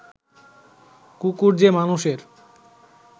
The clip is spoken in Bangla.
কুকুর যে মানুষের